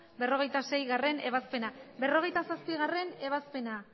berrogeita seigarrena ebazpena berrogeita zazpigarrena